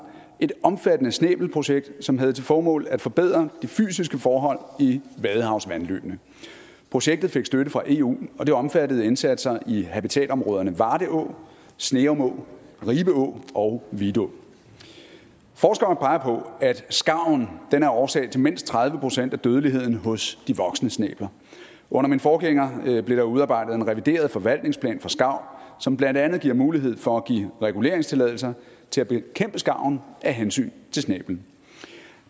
et omfattende snæbelprojekt som havde til formål at forbedre de fysiske forhold i vadehavsvandløbene projektet fik støtte fra eu og det omfattede indsatser i habitatområderne varde å sneum å ribe å og vidå forskere peger på at skarven er årsag til mindst tredive procent af dødeligheden hos de voksne snæbler under min forgænger blev der udarbejdet en revideret forvaltningsplan for skarv som blandt andet giver mulighed for at give reguleringstilladelser til at bekæmpe skarven af hensyn til snæblen